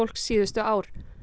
síðustu ár